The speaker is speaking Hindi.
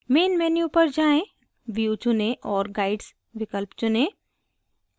main menu पर जाएँ view चुनें और guides विकल्प चुनें